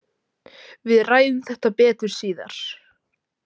Við ræðum þetta betur síðar